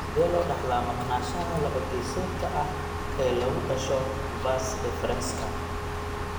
Sidee loo dhaxlaa maqnaanshaha laba-geesoodka ah ee lagu dhasho vas deferenska (CBAVD)?